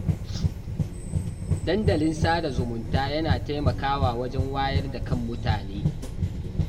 Dandalin sada zumunta yana taimakawa wajen wayar da kan mutane